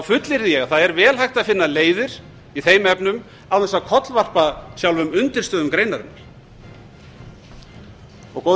ég að það er vel hægt að finna leiðir í þeim efnum án ef að kollvarpa sjálfum undirstöðum greinarinnar góðir